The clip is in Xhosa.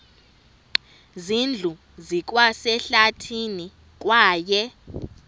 zindlu zikwasehlathini kwaye